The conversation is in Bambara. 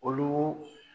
Olu